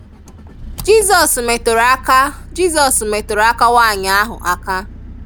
Jizọs meturu aka Jizọs meturu aka nwanyị ahụ aka.